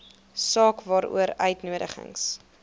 saak waaroor uitnodigings